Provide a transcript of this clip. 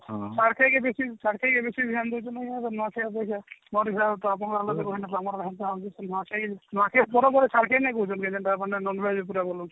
ଛାଡଖାଇ ଛାଡଖାଇ ଏବେ ସେଇ ଭଳିଆ ନୂଆଖାଇ ଅପେକ୍ଷା ନୂଆଖାଇ ନୂଆଖାଇ ପରବରେ ଛାଡଖାଇ ନଇଁ କହୁଛନ୍ତି ଯେ କେନ୍ତା ମାନେ non veg ଉପରେ ବନୋଉଛି